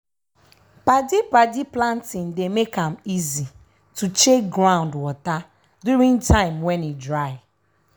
padi-padi planting dey make am easy to check ground water during time when e dry.